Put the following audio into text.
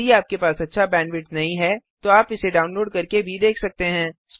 यदि आपके पास अच्छा बैंडविड्थ नहीं है तो आप इसे डाउनलोड करके देख सकते हैं